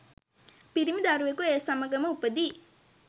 පිරිමි දරුවෙකු ඒ සමඟම උපදියි.